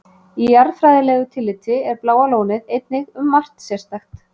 Í jarðfræðilegu tilliti er Bláa lónið einnig um margt sérstakt.